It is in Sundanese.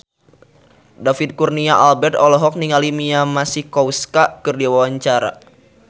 David Kurnia Albert olohok ningali Mia Masikowska keur diwawancara